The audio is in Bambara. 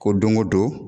Ko don go don